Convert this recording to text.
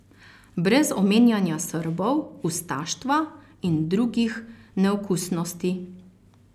Brez omenjanja Srbov, ustaštva in drugih neokusnosti.